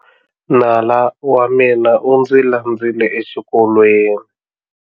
Nala wa mina u ndzi landzile exikolweni.